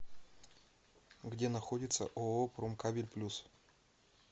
где находится ооо промкабель плюс